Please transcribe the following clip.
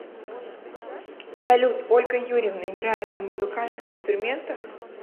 салют ольга юрьевна играет на музыкальных инструментах